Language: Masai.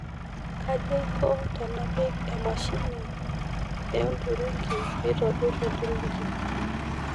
kaji aiko tenapik emashini ee olturungi piitobirr olturungi